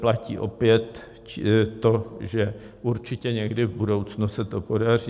Platí opět to, že určitě někdy v budoucnu se to podaří.